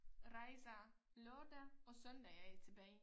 Rejser lørdag og søndag er jeg tilbage